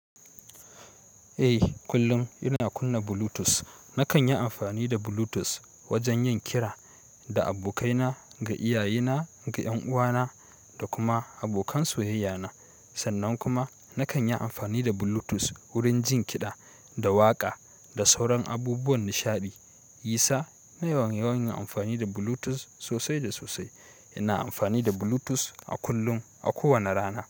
Eh kullum ina kunna Bluetooth. Nakan yi amfani da Bluetooth wajen yin kira da abokaina, ga iyayena, ga 'yan uwana da kuma abokan soyayyana. Sannan kuma nakan yi amfani da Bluetooth wurin jin kiɗa da waƙa da sauran abubuwan nishaɗi. Yisa ina yawan yin amfani da Bluetooth sosai da sosai. Ina amfani da Bluetooth a kullum a kowane rana.